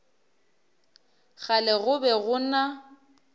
kgale go be go na